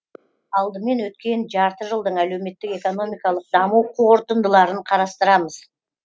алдымен өткен жарты жылдың әлеуметтік экономикалық даму қорытындыларын қарастырамыз